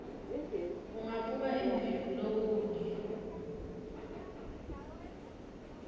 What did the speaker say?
ungabuka embili kulokunye